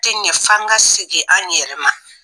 tɛ ɲɛ f'an ka segin an yɛrɛ ma